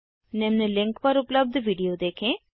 निम्न लिंक पर उपलब्ध वीडियो देखें